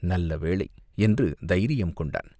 "நல்லவேளை!" என்று தைரியம் கொண்டான்.